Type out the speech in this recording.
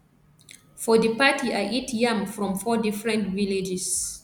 for di party i eat yam from four different villages